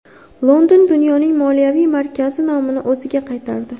London dunyoning moliyaviy markazi nomini o‘ziga qaytardi.